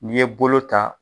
N'i ye bolo ta